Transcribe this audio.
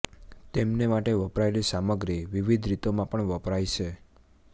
તેમને માટે વપરાયેલી સામગ્રી વિવિધ રીતોમાં પણ વપરાય છે